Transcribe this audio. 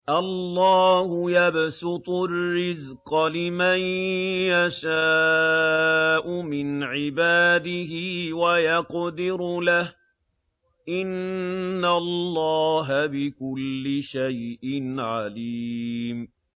اللَّهُ يَبْسُطُ الرِّزْقَ لِمَن يَشَاءُ مِنْ عِبَادِهِ وَيَقْدِرُ لَهُ ۚ إِنَّ اللَّهَ بِكُلِّ شَيْءٍ عَلِيمٌ